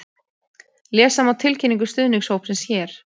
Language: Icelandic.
Lesa má tilkynningu stuðningshópsins hér